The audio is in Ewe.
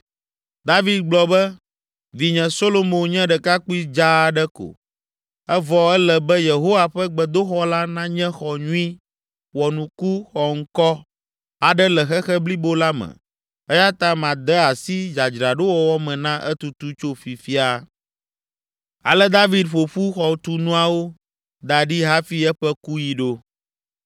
David gblɔ be, “Vinye Solomo nye ɖekakpui dzaa aɖe ko, evɔ ele be Yehowa ƒe gbedoxɔ la nanye xɔ nyui, wɔnuku, xɔŋkɔ aɖe le xexe blibo la me eya ta made asi dzadzraɖowɔwɔ me na etutu tso fifia.” Ale David ƒo ƒu xɔtunuawo da ɖi hafi eƒe kuɣi ɖo.